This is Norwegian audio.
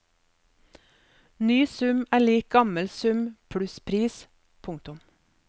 Ny sum er lik gammel sum pluss pris. punktum